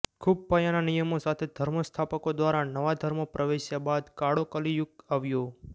ખૂબ પાયાના નિયમો સાથે ધર્મ સ્થાપકો દ્વારા નવા ધર્મો પ્રવેશ્યા બાદ કાળો કલિયુગ આવ્યો